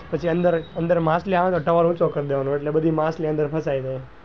પછી અંદર માછલી આવે ને તો towel ઉંચો કર દેવા નો તો બધી માછલી ફસાઈ જાય.